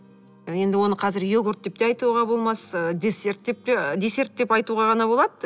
енді оны қазір йогурт деп те айтуға болмас десерт деп те десерт деп айтуға ғана болады